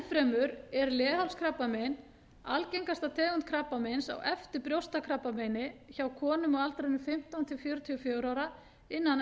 enn fremur er leghálskrabbamein algengasta tegund krabbameins á eftir brjóstakrabbameini hjá konum á aldrinum fimmtán til fjörutíu og fjögurra ára innan